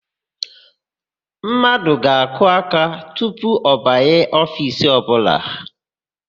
Mmadụ ga-akụ aka tupu ọ banye ofiisi ọbụla.